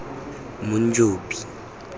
monjobi